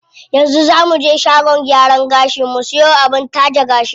Yanzu zaa muje shagon gyaran gashi mu siyo abin taje gashi.